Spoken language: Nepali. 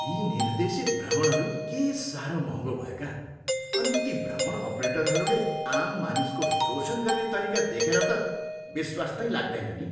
यी निर्देशित भ्रमणहरू के साह्रो महङ्गो भएका अनि ती भ्रमण अपरेटरहरूले आम मानिसको शोषण गर्ने तरिका देखेर त विश्वास नै लाग्दैन नि।